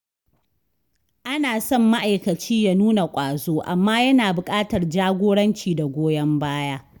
Ana son ma’aikaci ya nuna ƙwazo, amma yana buƙatar jagoranci da goyon baya.